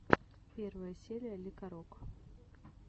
первая серия лекарок